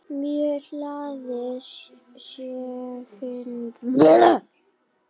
Mjög hlaðið segir hún.